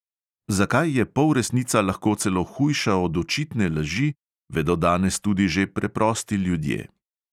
Zakaj je polresnica lahko celo hujša od očitne laži, vedo danes tudi že preprosti ljudje.